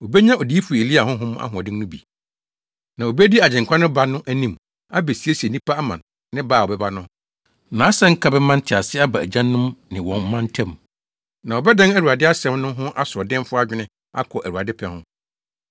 Obenya Odiyifo Elia honhom ahoɔden no bi, na obedi Agyenkwa no ba no anim abesiesie nnipa ama ne ba a ɔbɛba no. Nʼasɛnka bɛma ntease aba agyanom ne wɔn mma ntam. Na ɔbɛdan Awurade asɛm no ho asoɔdenfo adwene akɔ Awurade pɛ ho.”